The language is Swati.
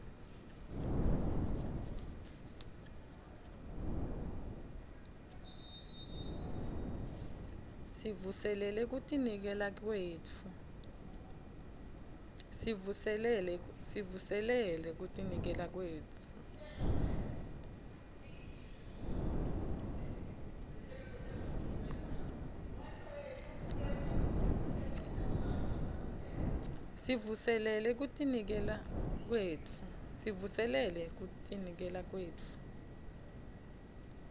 sivuselele kutinikela kwetfu